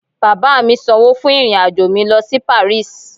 Baba mi sańwo fún irin ajọ mi lo si paris